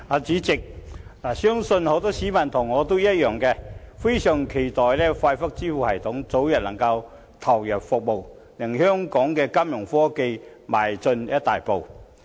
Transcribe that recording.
主席，相信很多市民像我一樣，非常期待快速支付系統早日投入服務，令香港的金融科技邁進一大步。